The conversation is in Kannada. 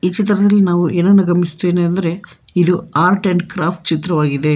ಚಿತ್ರದಲ್ಲಿ ನಾವು ಏನನ್ನು ಗಮನಿಸ್ತಿನಿ ಅಂದ್ರೆ ಇದು ಆರ್ಟ್ ಅಂಡ್ ಕ್ರಾಪ್ಟ ಚಿತ್ರವಾಗಿದೆ.